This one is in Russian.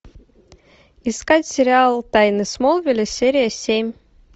искать сериал тайны смолвиля серия семь